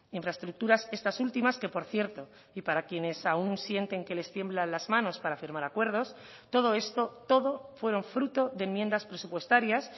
infraestructuras estas últimas que por cierto y para quienes aún sienten que les tiemblan las manos para firmar acuerdos todo esto todo fueron fruto de enmiendas presupuestarias